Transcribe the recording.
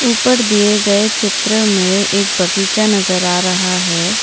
ऊपर दिए गए चित्र में एक बगीचा नजर आ रहा है।